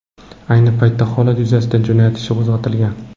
Ayni paytda holat yuzasidan jinoyat ishi qo‘zg‘atilgan.